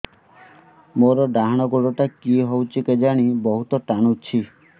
ମୋର୍ ଡାହାଣ୍ ଗୋଡ଼ଟା କି ହଉଚି କେଜାଣେ ବହୁତ୍ ଟାଣୁଛି